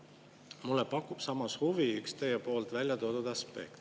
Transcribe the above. Mulle pakub samas huvi üks teie poolt välja toodud aspekt.